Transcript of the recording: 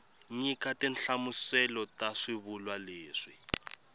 nyika tinhlamuselo ta swivulwa leswi